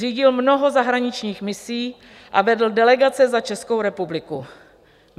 Řídil mnoho zahraničních misí a vedl delegace za Českou republiku.